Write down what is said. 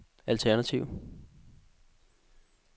alternativ